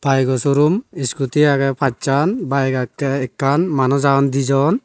bayeko showroom scooty agey pachan bike agey ekkan manuj agon di jon.